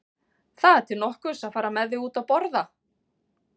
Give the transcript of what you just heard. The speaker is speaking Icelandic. Það er til nokkurs að fara með þig út að borða!